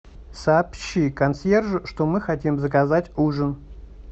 сообщи консьержу что мы хотим заказать ужин